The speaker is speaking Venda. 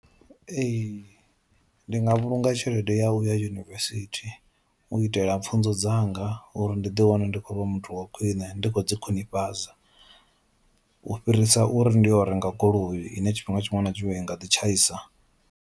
Ee ndi nga vhulunga tshelede yau ya yunivesithi u itela pfhunzo dzanga uri ndi ḓi wane ndi khou vha muthu wa khwiṋe ndi khou ḓi khwinifhadza u fhirisa uri ndi yo u renga goloi ine tshifhinga tshiṅwe na tshiṅwe i nga ḓi tshaisa.